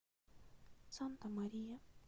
санта мария